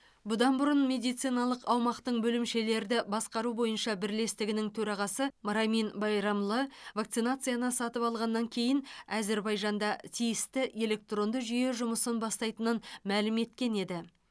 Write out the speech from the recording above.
бұдан бұрын медициналық аумақтың бөлімшелерді басқару бойынша бірлестігінің төрағасы рамин байрамлы вакцинацияны сатып алғаннан кейін әзербайжанда тиісті электронды жүйе жұмысын бастайтынын мәлім еткен еді